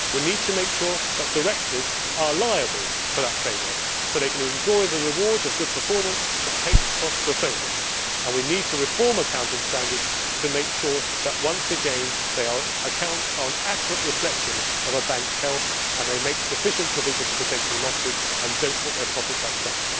We need to make sure that directors are liable for that failure, so that they can enjoy the rewards of good performance but pay the costs of failure. We need to reform accounting standards to make sure that, once again, the accounts are an accurate reflection of a bank's health and that they make sufficient provision for potential losses and do not book their profits up front.